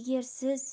егер сіз